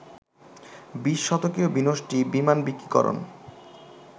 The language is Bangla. বিশ-শতকীয় বিনষ্টি, বিমানবিকীকরণ